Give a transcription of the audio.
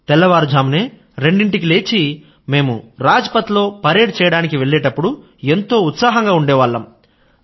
తెల్లవారుజామున రెండింటికి లేచి మేము రాజ్ పథ్ లో పెరేడ్ చేయడానికి వెళ్ళేప్పుడు మేమంతా ఎంతో ఉత్సాహంగా ఉండేవాళ్ళం